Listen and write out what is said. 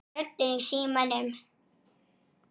Hún ýtir